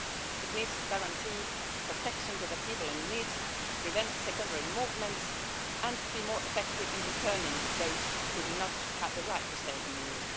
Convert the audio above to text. It needs to guarantee protection to the people in need, prevent secondary movements and be more effective in returning those who do not have the right to stay in the